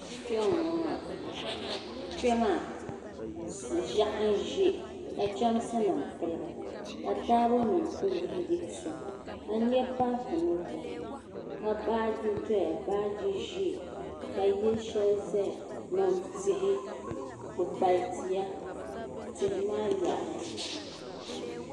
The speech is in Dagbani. Kpɛ maa ʒiɛɣu n ʒɛ ka chɛmsi nim piligi ka taabo nim ku yihi yihi soŋ ka n nyɛ paapu ni doya ka baaji doya baaji ʒiɛ ka yili shɛli ʒɛya ni tihi kpukpali tia tihi maa yaɣaya